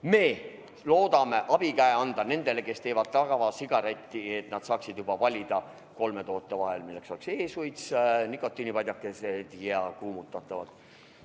Me loodame abikäe anda nendele, kes teevad tavasigaretti, et nad saaksid valida kolme toote vahel, milleks on e-suits, nikotiinipadjakesed ja kuumutatavad tubakatooted.